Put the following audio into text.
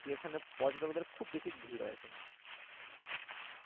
কিন্তু এখানে পর্যটকদের খুব বেশি ভীড় হয় এখানে